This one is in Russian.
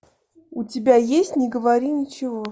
у тебя есть не говори ничего